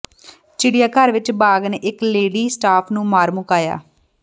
ਚਿੜੀਆਘਰ ਵਿਚ ਬਾਘ ਨੇ ਇਕ ਲੇਡੀ ਸਟਾਫ ਨੂੰ ਮਾਰ ਮੁਕਾਇਆ